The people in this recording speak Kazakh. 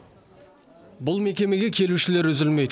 бұл мекемеге келушілер үзілмейді